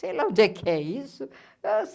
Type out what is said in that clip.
Sei lá onde é que é isso.